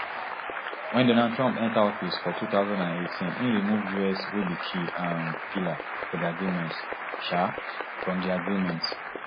when donald trump enta office for two thousand and eighteen im remove us wey be key um pillar for di agreement um from di agreement